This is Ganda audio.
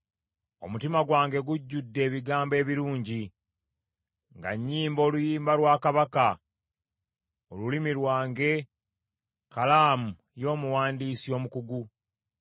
Omutima gwange gujjudde ebigambo ebirungi nga nnyimba oluyimba lwa Kabaka. Olulimi lwange kkalaamu y’omuwandiisi omukugu.